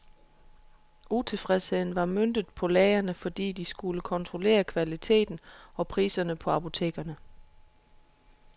Utilfredsheden var møntet på lægerne, fordi de skulle kontrollere kvaliteten og priserne på apotekerne.